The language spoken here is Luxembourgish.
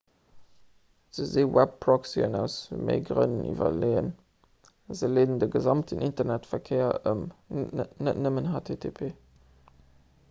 se si webproxyen aus méi grënn iwwerleeën se leeden de gesamten internetverkéier ëm net nëmmen http